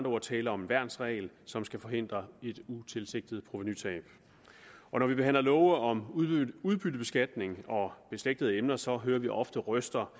ord tale om en værnsregel som skal forhindre et utilsigtet provenutab når vi behandler love om udbyttebeskatning og beslægtede emner så hører vi ofte røster